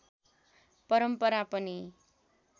परम्परा पनि